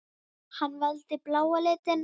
Hann valdi bláa litinn.